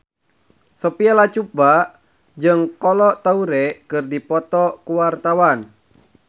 Sophia Latjuba jeung Kolo Taure keur dipoto ku wartawan